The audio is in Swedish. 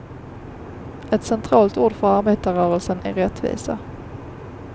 Ett centralt ord för arbetarrörelsen är rättvisa.